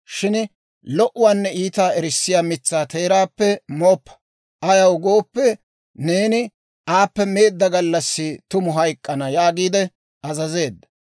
shin lo"uwaanne iitaa erissiyaa mitsaa teeraappe mooppa; ayaw gooppe, neeni aappe meedda gallassi tumu hayk'k'ana» yaagiide azazeedda.